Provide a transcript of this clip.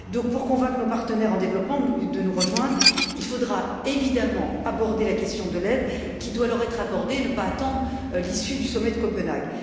Donc, pour convaincre nos partenaires en développement de nous rejoindre, il faudra évidemment aborder la question de l'aide qui doit leur être accordée et ne pas attendre l'issue du sommet de Copenhague.